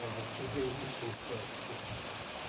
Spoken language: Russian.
а что дела-то что устал братан